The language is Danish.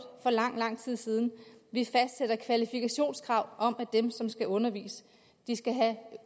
for lang lang tid siden vi fastsætter kvalifikationskrav om at dem som skal undervise skal have